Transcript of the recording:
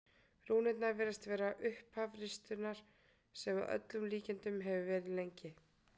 rúnirnar virðast vera upphaf ristunnar sem að öllum líkindum hefur verið lengri